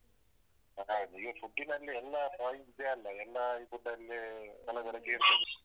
ಹೌದು ಈಗ food ನಲ್ಲಿ ಎಲ್ಲ ಇದೆ ಅಲ್ಲ ಎಲ್ಲಾ food ಅಲ್ಲಿ ಕಲಬೆರಿಕೆ ಇರ್ತದೆ.